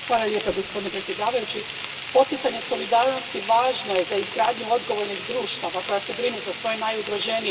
Gospodine predsjedniče, poticanje solidarnosti važno je za izgradnju odgovornih društava koja se brinu za svoje najugroženije.